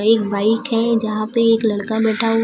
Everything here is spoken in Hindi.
एक बाइक है जहां पे एक लड़का बैठा हु--